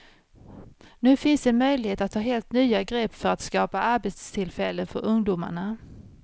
Nu finns en möjlighet att ta helt nya grepp för att skapa arbetstillfällen för ungdomarna.